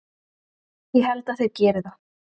Ég held að þeir geri það.